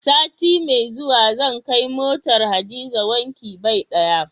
Sati mai zuwa zan kai motar Hadiza wankin bai ɗaya.